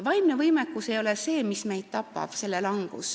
Vaimse võimekuse langus ei ole see, mis meid tapab.